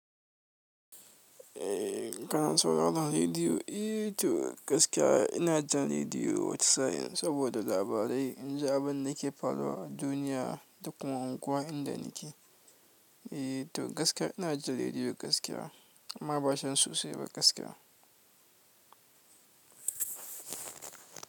Eh kana sauraran rediyo? Eh to gaskiya ina jin rediyo saboda labarai. In ji abin da ke faruwa a duniya da kuma unguwa inda nake. Eh to gaskiya ina jin rediyo gaskiya amma ba can sosai ba gaskiya.